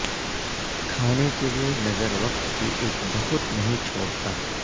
کھانے کے لئے نظر وقت کی ایک بہت نہیں چھوڑتا